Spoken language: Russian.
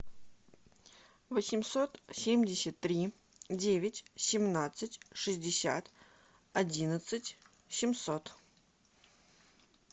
восемьсот семьдесят три девять семнадцать шестьдесят одиннадцать семьсот